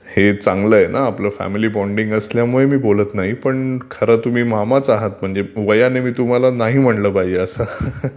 हे चांगल आहे, आपलं फॅमिली बॉन्डींग असल्यामुळे बोलतं नाही पण खर तुम्ही मामाचं आहात म्हणजे वयाने मी तुम्हाला नाही म्हटलं पाहिजे.